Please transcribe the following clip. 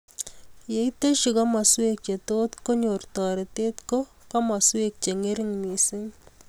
Yeiteshi komaswek che too konyor toretet ko komaswek che ngering' mising.